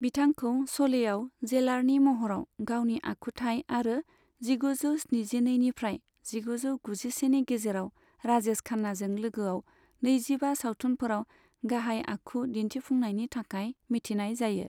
बिथांखौ श'लेआव जेलारनि महराव गावनि आखुथाय आरो जिगुजौ स्निजिनैनिफ्राय जिगुजौ गुजिसेनि गेजेराव राजेश खान्नाजों लोगोआव नैजिबा सावथुनफोराव गाहाय आखु दिन्थिफुंनायनि थाखाय मिथिनाय जायो।